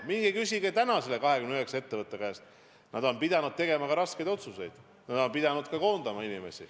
Minge küsige täna nende 29 ettevõtte juhtide käest, nad on pidanud tegema ka raskeid otsuseid, nad on pidanud inimesi koondama.